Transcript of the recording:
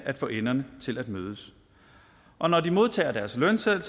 at få enderne til at mødes og når de modtager deres lønseddel